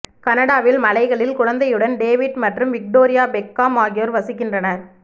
கனடாவின் மலைகளில் குழந்தைகளுடன் டேவிட் மற்றும் விக்டோரியா பெக்காம் ஆகியோர் வசிக்கின்றனர்